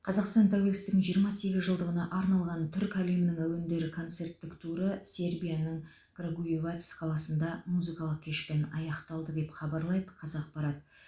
қазақстан тәуелсіздігінің жиырма сегізінші жылдығына арналған түркі әлемінің әуендері концерттік туры сербияның крагуевац қаласында музыкалық кешпен аяқталды деп хабарлайды қазақпарат